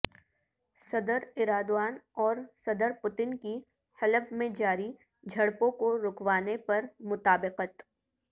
صدر ایرادوان اور صدر پوتن کی حلب میں جاری جھڑپوں کو رکوانے پر مطابقت